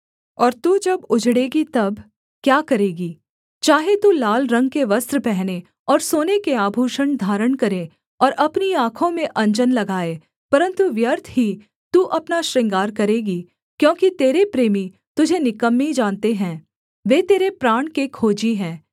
और तू जब उजड़ेंगी तब क्या करेगी चाहे तू लाल रंग के वस्त्र पहने और सोने के आभूषण धारण करे और अपनी आँखों में अंजन लगाए परन्तु व्यर्थ ही तू अपना श्रृंगार करेगी क्योंकि तेरे प्रेमी तुझे निकम्मी जानते हैं वे तेरे प्राण के खोजी हैं